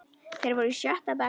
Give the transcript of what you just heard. Þeir voru í sjötta bekk.